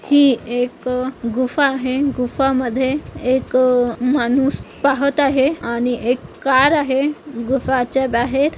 हि एक गुफा आहे गुफामद्धे एक माणूस पाहत आहे आणि एक कार आहे गुफाच्या बाहेर --